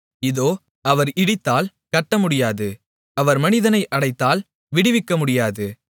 இதோ அவர் இடித்தால் கட்டமுடியாது அவர் மனிதனை அடைத்தால் விடுவிக்கமுடியாது